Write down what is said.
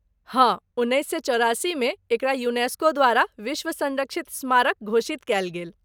हाँ, उन्नैस सए चौरासी मे एकरा यूनेस्को द्वारा विश्व संरक्षित स्मारक घोषित कयल गेल।